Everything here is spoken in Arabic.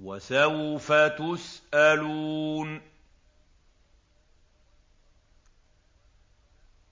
وَسَوْفَ تُسْأَلُونَ